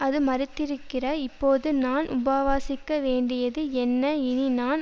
அது மரித்திருக்கிற இப்போது நான் உபவாசிக்க வேண்டியது என்ன இனி நான்